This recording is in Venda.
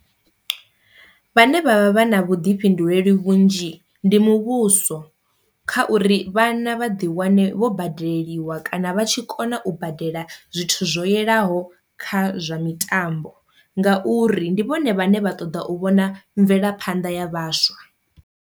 Vhane vha vha na vhuḓifhinduleli vhunzhi ndi muvhuso kha uri vhana vha ḓi wane vho badeleliwa kana vha tshi kona u badela zwithu zwo yelaho kha zwa mitambo ngauri ndi vhone vhane vha ṱoḓa u vhona mvelaphanḓa ya vhaswa.